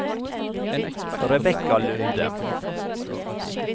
Rebekka Lunde